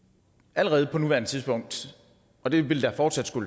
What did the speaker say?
allerede på nuværende tidspunkt og det vil fortsat